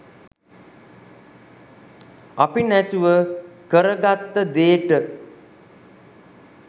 අපි නැතුව කරගත්ත දේට